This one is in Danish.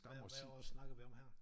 Hvad hvad år snakker vi om her